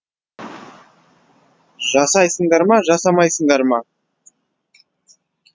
жасайсыңдар ма жасамайсыңдар ма